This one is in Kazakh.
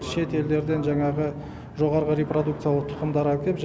шет елдерден жаңағы жоғарғы репродукциялы тұқымдар әкеп